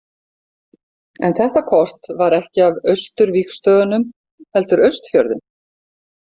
En þetta kort var ekki af Austurvígstöðvunum, heldur Austfjörðum.